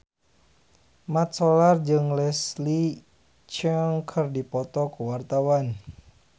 Mat Solar jeung Leslie Cheung keur dipoto ku wartawan